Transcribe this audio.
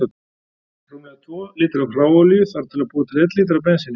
Rúmlega tvo lítra af hráolíu þarf til að búa til einn lítra af bensíni.